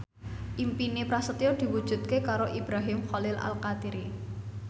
impine Prasetyo diwujudke karo Ibrahim Khalil Alkatiri